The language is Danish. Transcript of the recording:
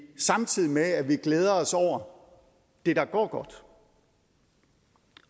samtidig med at vi glæder os over det der går godt